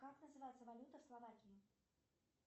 как называется валюта в словакии